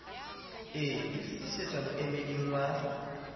e e fitisetsa moemeding wa